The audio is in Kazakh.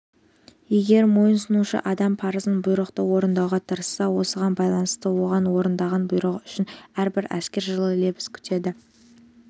егер мойынсұнушы адам парызын бұйрықты орындауға тырысса осыған байланысты онда орындаған бұйрығы үшін әрбір әскер жылы лебіз күтеді